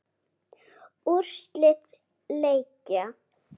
Úrslit leikja